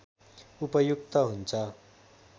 उपयुक्त हुन्छ